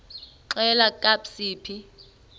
xelel kabs iphi